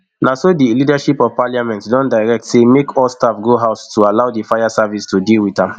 na so di leadership of parliament don direct say make all staff go house to allow di fire service to deal wit am